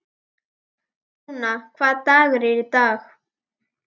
Dúna, hvaða dagur er í dag?